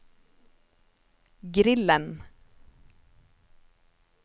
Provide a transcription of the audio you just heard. grillen